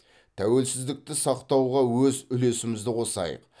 тәуелсіздікті сақтауға өз үлесімізді қосайық